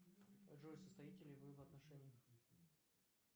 джой состоите ли вы в отношениях